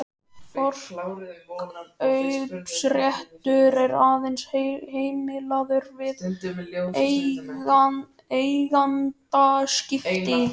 Forkaupsréttur er aðeins heimilaður við eigendaskipti.